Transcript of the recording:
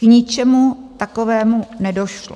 K ničemu takovému nedošlo.